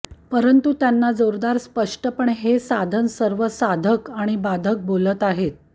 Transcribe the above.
परंतु त्यांना जोरदार स्पष्टपणे हे साधन सर्व साधक आणि बाधक बोलत आहेत